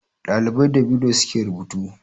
Ɗalibai da biro suke rubutu